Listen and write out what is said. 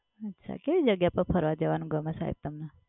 અચ્છા કેવી જગ્યા પર ફરવા જવનું ગમે સાહેબ તમને?